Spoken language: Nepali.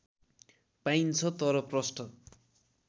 पाइन्छ तर प्रष्ट